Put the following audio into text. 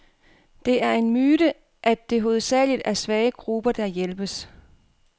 Det er en myte, at det hovedsageligt er svage grupper, der hjælpes.